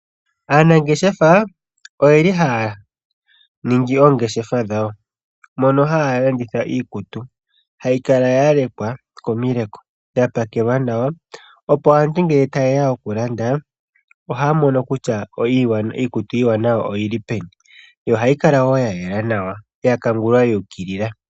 Aanangeshefa oyeli haya ningi oongeshefa dhawo mono haya landitha iikutu. Ohayi kala ya lekwa komileko , dha pakelwa nawa opo aantu ngele ta yeya okulanda ohaya mono kutya iikutu iiwanawa oyili peni. Yo ohayi kala wo ya yela nawa ya kangulwa yu ukilila.